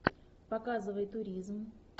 показывай туризм